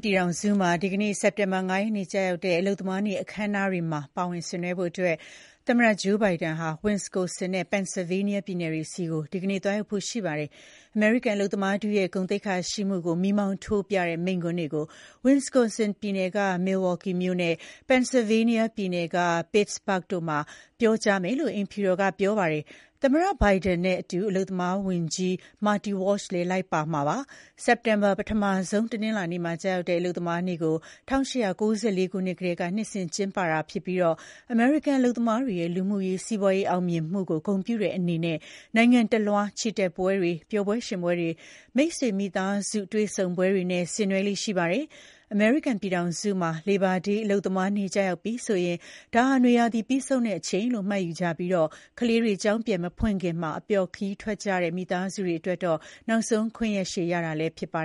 ပြည်ထောင်စုမှာကျရောက်တဲ့ အလုပ်သမားနေ့အခမ်းအနားမှာ ပါဝင်ဆင်နွှဲဖို့ သမ္မတဂျိုးဘိုင်ဒန်က ဝတ်စ်ကွန်ဆင်နဲ့ ပန်ဆယ်လ်ဗေးနီးယား ပြည်နယ်တွေဆီ ဒီကနေ့ သွားရောက်မှာပါ။ အမေရိကန်အလုပ်သမားထုရဲ့ ဂုဏ်သိက္ခာရှိမှုကို မီးမောင်းထိုးပြတဲ့ မိန့်ခွန်းတွေကို ဝတ်စ်ကွန်ဆင်ပြည်နယ်က မီလ်ဝါ့က်ကီမြို့နဲ့ ပန်ဆယ်လ်ဗေးနီးယား ပြည်နယ် ပစ်(စ်)ဘာ့ဂ်မြို့တို့မှာ ပြောကြားမယ်လို့ အိမ်ဖြူတော်က ပြောပါတယ်။ သမ္မတဘိုင်ဒန်နဲ့အတူ အလုပ်သမားဝန်ကြီး မာတီ ဝါ့လ်(ရှ်)လည်း လိုက်ပါမှာ ဖြစ်ပါတယ်။ စက်တင်ဘာလရဲ့ ပထမဆုံးတနင်္လာနေ့မှာ ကျရောက်တဲ့ အလုပ်သမားနေ့ကို ၁၈၉၄ ခုနှစ်ကတည်းက နှစ်စဉ် ကျင်းပတာဖြစ်ပြီး အမေရိကန်အလုပ်သမားတွေရဲ့ လူမှုရေး၊ စီးပွားရေးအောင်မြင်မှုကိုဂုဏ်ပြုတဲ့အနေနဲ့ နိုင်ငံတလွှား ချီတက်ပွဲတွေ၊ ပျော်ပွဲရွှင်ပွဲတွေ၊ မိတ်ဆွေမိသားစုများ တွေ့ဆုံပွဲတွေနဲ့ ဆင်နွှဲကြပါတယ်။ ပြီးတော့ လေဘာဒေး၊ အလုပ်သမားနေ့ရောက်ပြီဆိုရင် ဒါဟာ နွေရာသီပြီးဆုံးတဲ့နေ့လို့ မှတ်ယူကြပြီး ကလေးတွေ ကျောင်းပြန်မဖွင့်ခင် အပျော်ခရီးထွက်ကြတဲ့ မိသားစုတွေအတွက် နောက်ဆုံးခွင့်ရက်ရှည်လည်း ဖြစ်ပါ